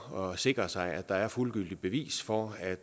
og sikre sig at der er fuldgyldigt bevis for at